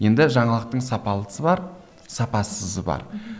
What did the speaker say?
енді жаңалықтың сапалысы бар сапасызы бар мхм